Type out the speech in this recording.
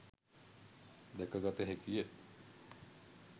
දැකගත හැකිය.